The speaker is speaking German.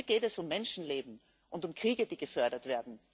Hier geht es um Menschenleben und um Kriege, die gefördert werden!